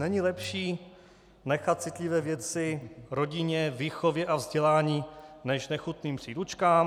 Není lepší nechat citlivé věci rodině, výchově a vzdělání než nechutným příručkám?